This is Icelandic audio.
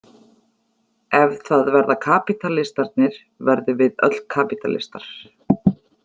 Ef það verða kapítalistarnir verðum við öll kapítalistar.